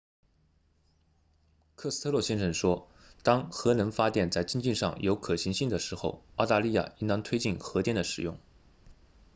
科斯特洛先生说当核能发电在经济上有可行性的时候澳大利亚应当推进核电的使用